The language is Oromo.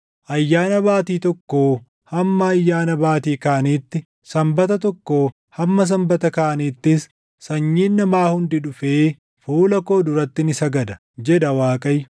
“Ayyaana Baatii tokkoo hamma Ayyaana Baatii kaaniitti, Sanbata tokkoo hamma Sanbata kaaniittis sanyiin namaa hundi dhufee fuula koo duratti ni sagada” jedha Waaqayyo.